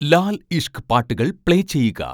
ലാൽ ഇഷ്ഖ് ' പാട്ടുകൾ പ്ലേ ചെയ്യുക